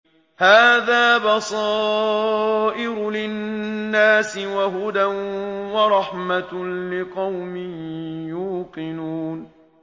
هَٰذَا بَصَائِرُ لِلنَّاسِ وَهُدًى وَرَحْمَةٌ لِّقَوْمٍ يُوقِنُونَ